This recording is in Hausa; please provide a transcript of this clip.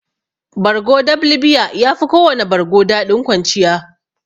Bargo dab libiya yafi kowana bargo daɗin kwanciya.